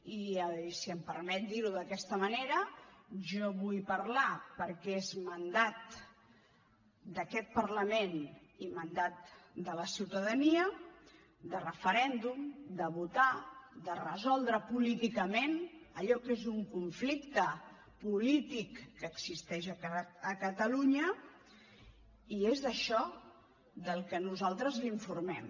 i si em permeti dirho d’aquesta manera jo vull parlar perquè és mandat d’aquest parlament i mandat de la ciutadania de referèndum de votar de resoldre políticament allò que és un conflicte polític que existeix a catalunya i és d’això del que nosaltres l’informem